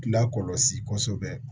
Lakɔlɔsi kosɛbɛ